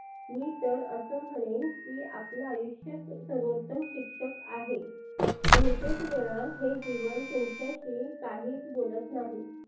मी तर असंं म्हणेन की आपल आयुष्यच सर्वोत्तम शिक्षक आहे. बहुतेक वेळा हे जीवन तुमच्याशी काहीच बोलत नाही.